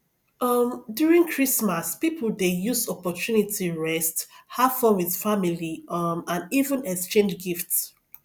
um during christmas pipo dey use opportunity rest have fun with family um and even exchange gifts